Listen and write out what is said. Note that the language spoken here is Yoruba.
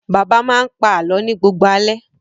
Bàbá máa ń pa àlọ́ ni gbogbo alẹ́.